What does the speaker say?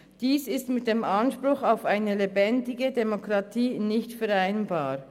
Dies ist mit dem Anspruch auf eine lebendige Demokratie nicht vereinbar.